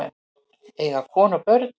Eiga konu og börn?